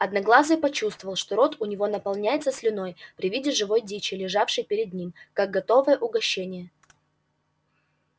одноглазый почувствовал что рот у него наполняется слюной при виде живой дичи лежавшей перед ним как готовое угощение